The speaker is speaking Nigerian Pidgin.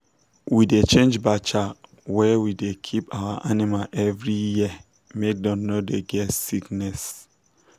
we da change bacha wer we da keep our animal every year make dem no get sickness